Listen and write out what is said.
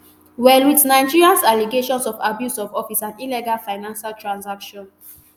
well wit nigerians allegations of abuse of office and illegal financial transactions.